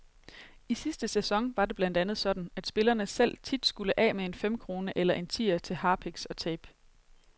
I sidste sæson var det blandt andet sådan, at spillerne selv tit skulle af med en femkrone eller en tier til harpiks og tape.